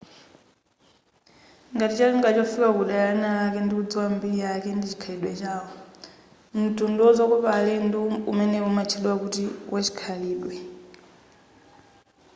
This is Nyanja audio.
ngati cholinga chofika kudera linalake ndikudziŵa mbiri yake ndi chikhalidwe chawo mtundu wazokopa alendo umenewu umatchedwa kuti wachikhalidwe